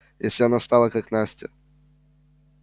если она стала как настя